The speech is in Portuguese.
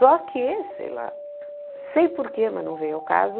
Só que, sei lá, sei por que, mas não veio ao caso...